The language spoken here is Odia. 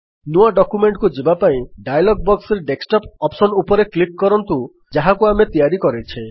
ନୂଆ ଡକ୍ୟୁମେଣ୍ଟକୁ ଯିବାପାଇଁ ଡାୟଲଗ୍ ବକ୍ସରେ ଡେସ୍କଟପ୍ ଅପ୍ସନ୍ ଉପରେ କ୍ଲିକ୍ କରନ୍ତୁ ଯାହାକୁ ଆମେ ତିଆରି କରିଛେ